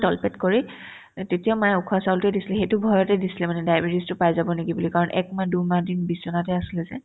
তল পেট কৰি তেতিয়া মায়ে উখোৱা চাউলতোয়ে দিছিল সেইটো ভয়তে দিছিলে মানে diabetes তো পাই যাব নেকি বুলি কাৰণ একমাহ দুইমাহ দিন বিচনাতে আছিলে যে